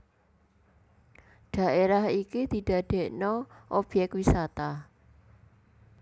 Dhaérah iki didadèkna obyèk wisata